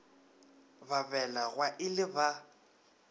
ba belegwa e le ba